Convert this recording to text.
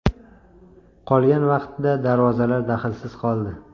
Qolgan vaqtda darvozalar daxlsiz qoldi.